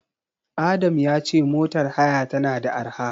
Adam ya ce motar haya tana da arha.